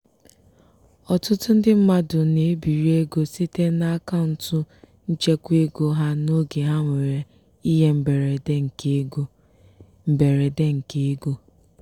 ọtụtụ ndị mmadụ na-ebiri ego site n'akaụntụ nchekwaego ha n'oge ha nwere ihe mberede nke ego. mberede nke ego.